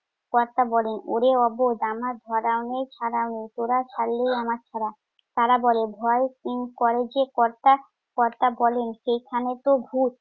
কর্তা বলেন, ওরে অবোধ! আমার ধরাও নেই ছাড়াও নেই। তোরা ছাড়লেই আমার ছাড়া। তারা বলে, ভয় উম করে যে কর্তা! কর্তা বলে, সেইখানেই তো ভুত।